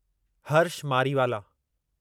Harsh Mariwala